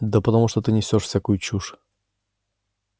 да потому что ты несёшь всякую чушь